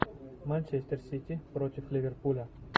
манчестер сити против ливерпуля